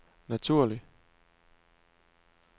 naturlig